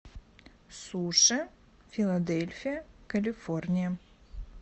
суши филадельфия калифорния